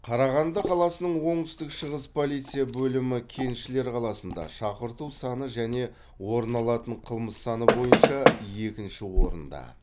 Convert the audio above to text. қарағанды қаласының оңтүстік шығыс полиция бөлімі кеншілер қаласында шақырту саны және орын алатын қылмыс саны бойынша екінші орында